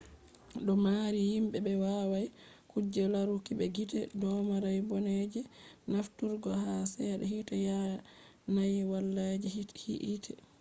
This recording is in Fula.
do do mari himbe be wawai kuje laruki be gite domari bone je nafturgo ha sedda hite yanayi wala je hite